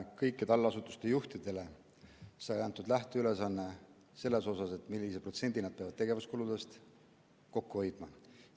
Kõikidele allasutuste juhtidele sai antud lähteülesanne, millise protsendi nad peavad tegevuskuludest kokku hoidma.